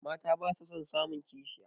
Mata basu son samun kishiya